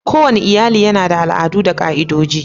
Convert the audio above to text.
Kowane iyali yana da al'adu da ka'idoji.